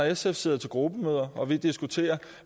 sf sidder til gruppemøder og diskuterer